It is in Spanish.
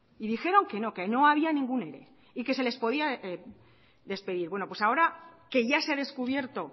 y dijeron que no que no había ningún ere y que se les podía despedir bueno pues ahora que ya se ha descubierto